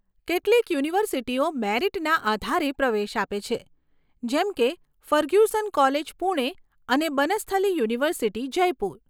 કેટલીક યુનિવર્સિટીઓ મેરિટના આધારે પ્રવેશ આપે છે, જેમ કે ફર્ગ્યુસન કોલેજ, પૂણે અને બનસ્થલી યુનિવર્સિટી, જયપુર.